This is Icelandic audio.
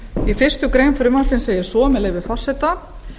í fyrstu grein frumvarpsins segir svo með leyfi forseta